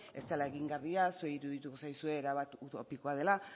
ez dela egingarria zuei irudituko zaizue erabaki utopikoa dela